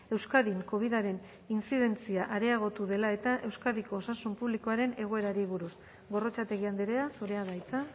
euskadin covidaren intzidentzia areagotu dela eta euskadiko osasun publikoaren egoerari buruz gorrotxategi andrea zurea da hitza